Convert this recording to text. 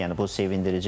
Yəni bu sevindiricidir.